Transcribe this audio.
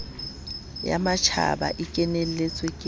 ya matjhaba e kenetsweng ke